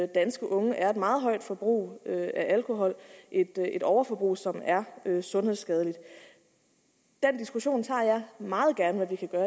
danske unge er et meget højt forbrug af alkohol et overforbrug som er sundhedsskadeligt den diskussion tager jeg meget gerne